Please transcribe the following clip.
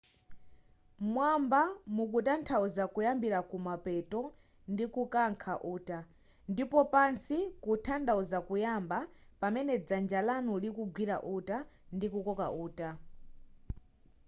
m'mwamba mukutanthauza kuyambira kumapeto ndikukankha uta ndipo pansi kuthanthauza kuyamba pamene dzanja lanu likugwira uta ndikukoka uta